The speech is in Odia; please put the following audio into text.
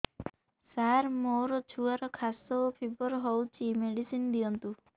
ସାର ମୋର ଛୁଆର ଖାସ ଓ ଫିବର ହଉଚି ମେଡିସିନ ଦିଅନ୍ତୁ